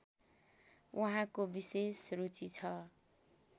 उहाँको विशेष रुचि छ